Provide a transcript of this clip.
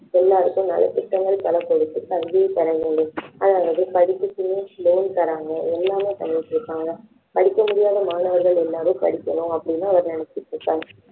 நலத்திட்டங்கள் பல கொடுத்து கல்வியை பெற வேண்டும் அதாவது படிப்புக்குன்னே loan தராங்க எல்லாமே பண்ணிட்டு இருக்காங்க படிக்க முடியாத மாணவர்கள் எல்லாரும் படிக்கணும் அப்படின்னு அவர் நினைச்சிட்டு இருக்கார்